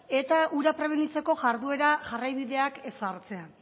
eta hura prebenitzeko jarduera jarraibideak ezartzea